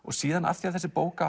síðan af því þessi bók